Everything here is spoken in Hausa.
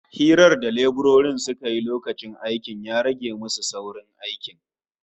Hirar da leburorin suka yi lokacin aikin ya rage musu saurin aikin